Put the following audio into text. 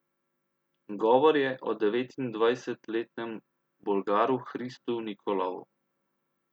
Govor je o devetindvajsetletnem Bolgaru Hristu Nikolovu.